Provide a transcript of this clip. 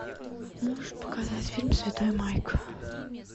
можешь показать фильм святой майк